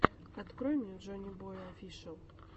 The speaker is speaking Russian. открой мне джоннибой офишиал